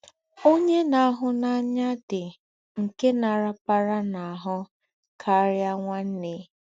“Ọ̀nyè nà-àhù́ n’ànyá dí́ nké nà-arapara n’ahụ́ karịa nwanne.